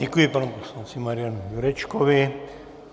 Děkuji panu poslanci Marianu Jurečkovi.